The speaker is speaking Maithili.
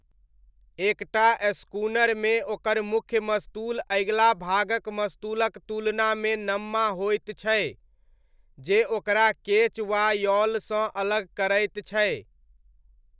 एकटा स्कूनरमे ओकर मुख्य मस्तूल अगिला भागक मस्तूलक तुलनामे नम्मा होइत छै, जे ओकरा केच वा यॉलसँ अलग करैत छै।